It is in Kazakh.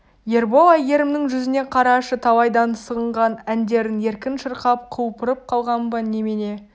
ербол әйгерімнің жүзіне қарашы талайдан сағынған әндерін еркін шырқап құлпырып қалған ба немене